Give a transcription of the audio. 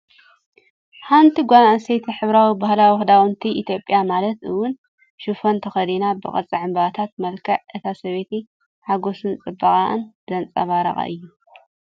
ሓንቲ ጓል ኣንስተይቲ ሕብራዊ ባህላዊ ክዳውንቲ ኢትዮጵያ ማለት እውን ሽፎን ተኸዲና፣ ብቅርጺ ዕምባባታት። መልክዕ እታ ሰበይቲ ሓጐስን ጽባቐን ዘንጸባርቕ እዩ።